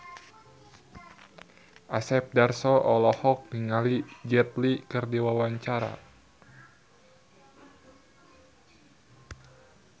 Asep Darso olohok ningali Jet Li keur diwawancara